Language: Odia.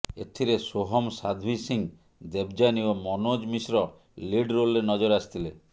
ଏଥିରେ ସୋହମ୍ ସାଧ୍ଭି ସିଂ ଦେବଯାନୀ ଓ ମନୋଜ ମିଶ୍ର ଲିଡ ରୋଲରେ ନଜର ଆସିଥିଲେ